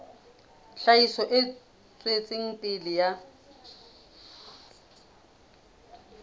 tlhahiso e tswetseng pele ya